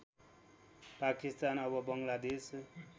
पाकिस्तान अब बङ्गलादेश